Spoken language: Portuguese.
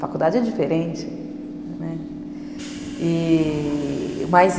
Faculdade é diferente.